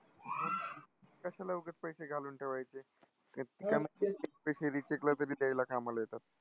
कशाला उगच पैसे घालून ठेवायचे? recheck ला तरी द्यायला कामाला येतात.